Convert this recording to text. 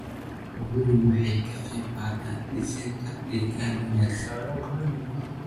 Xooluhu waxay ka qaybqaataan dhisidda deegaan wanaagsan.